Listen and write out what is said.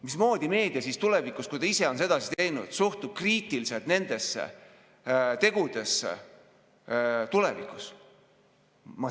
Mismoodi meedia siis tulevikus, kui ta ise on sedasi teinud, saaks suhtuda kriitiliselt sellistesse tegudesse?